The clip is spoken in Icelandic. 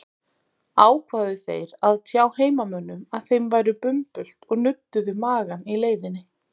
Ákváðu þeir að tjá heimamönnum að þeim væri bumbult og nudduðu magann í leiðinni.